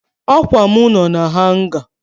Akwa m no na hanga